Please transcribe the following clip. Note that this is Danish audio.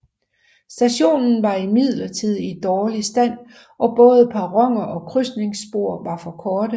Stationen var imidlertid i dårlig stand og både perroner og krydsningsspor var for korte